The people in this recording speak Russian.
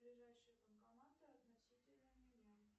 ближайшие банкоматы относительно меня